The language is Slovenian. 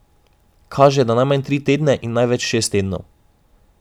Kaže, da najmanj tri tedne in največ šest tednov.